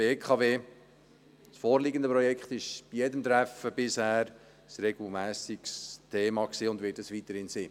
Das vorliegende Projekt war regelmässig bei jedem Treffen ein Thema und wird es weiterhin sein.